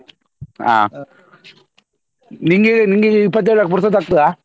ಹಾ ನಿನ್ಗೆ ನಿನ್ಗೆ ಇಪ್ಪತ್ತೇಳಕ್ಕೆ ಪುರ್ಸೊತ್ ಆಗ್ತದಾ?